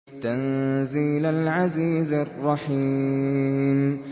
تَنزِيلَ الْعَزِيزِ الرَّحِيمِ